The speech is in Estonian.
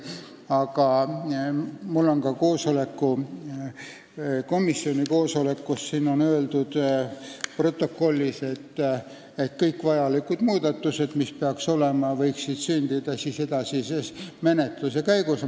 Aga mul on ka komisjoni koosoleku protokoll, kus on öeldud, et kõik vajalikud muudatused võiksid sündida edasises menetluse käigus.